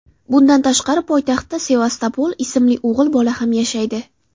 Bundan tashqari poytaxtda Sevastopol ismli o‘g‘il bola ham yashaydi.